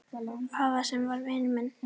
Afa sem var vinur minn.